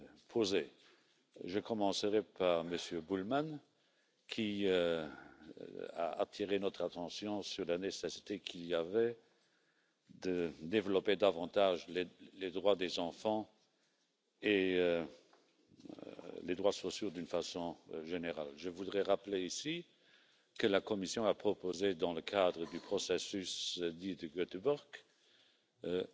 European asylum system. We hope as far as possible to find common ground and to bring things forward. The European Council in June also reconfirmed the need to bring our cooperation with Africa to a new level. A visible expression of this aim will be a high level forum, which we are currently planning to hold in Vienna at the beginning of December. As far as the proposal on summertime is concerned, we are planning